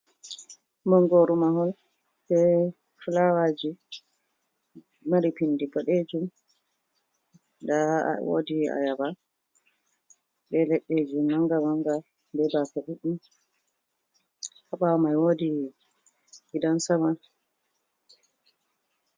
Mangoro mahol be flawaji mari pindi boɗeejum. Nda woodi ayaba be ledde ji manga-manga, be baafe ɗuɗɗum. Ha ɓaawo mai woodi gidan sama.